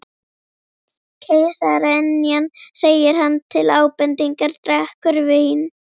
Keisaraynjan segir hann til ábendingar, drekkur vín